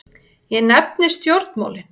Ég nefni stjórnmálin.